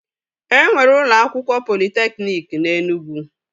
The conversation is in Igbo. E nwere ụlọ akwụkwọ politekniki na Enugwu